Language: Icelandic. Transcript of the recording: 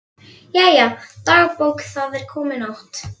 Jæja, dagbók, það er komin nótt.